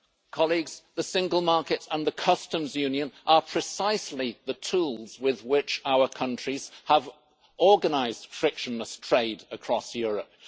Colleagues, the single market and the Customs Union are precisely the tools with which our countries have organised frictionless trade across Europe.